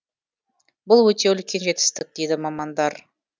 бұл өте үлкен жетістік дейді мамандар